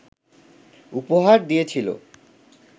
উপহার দিয়েছিল